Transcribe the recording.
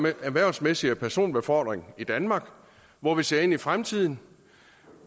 erhvervsmæssige personbefordring i danmark hvor vi ser ind i fremtiden